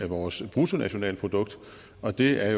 vores bruttonationalprodukt og det er